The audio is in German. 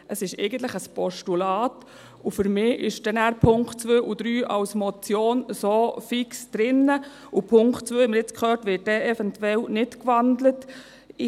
Es ist eigentlich ein Postulat, und für mich sind dann die Punkte 2 und 3 als Motion so fix drin, und den Punkt 2 wird dann eventuell nicht gewandelt, haben wir jetzt gehört.